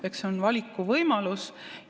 Eks see on valikuvõimalus.